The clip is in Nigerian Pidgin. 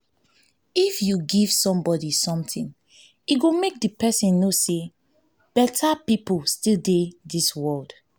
if you give somebody something e go make the person know say beta people still dey dis world